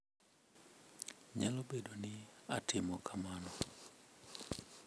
Nyalo bedo ni atimo kamano.